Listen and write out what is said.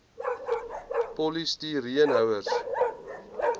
polisti reen houers